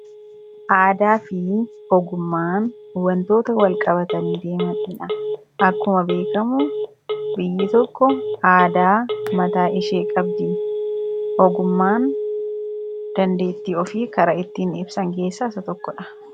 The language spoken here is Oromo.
aadaa fi ogummaan wantoota wal qabatanii deemaniidha. akkuma beekamu biyyi tokko aadaa mataa ishee qabdi, ogummaan dandeettii ofii kara ittiin ibsan keessaa isa tokko dha.